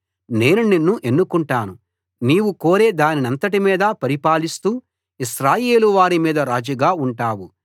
నేను నిన్ను ఎన్నుకుంటాను నీవు కోరే దానంతటిమీదా పరిపాలిస్తూ ఇశ్రాయేలు వారి మీద రాజుగా ఉంటావు